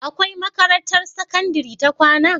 Akwai makarantar sakandari ta kwAna?